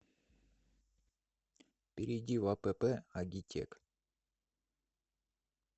перейди в апп агитек